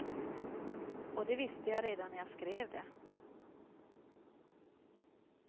Och det visste jag redan när jag skrev det.